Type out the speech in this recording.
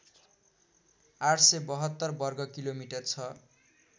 ८७२ वर्गकिलोमिटर छ